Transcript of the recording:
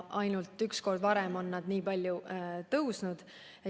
Ainult üks kord varem on need nii palju kasvanud.